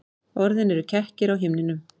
Orðin eru kekkir á himninum.